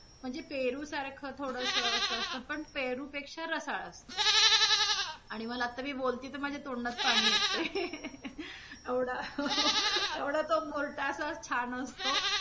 म्हणजे पेरू सारखं थोडस अस पण पेरू पेक्षा रसाळ असते. आणि मला आता मी बोलतीय माझ्या तोंडात पाणी येतंय एवढा हो एवढा तो मोर्टा असा छान असतो.